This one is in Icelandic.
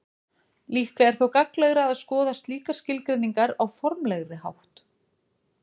Líklega er þó gagnlegra að skoða slíkar skilgreiningar á formlegri hátt.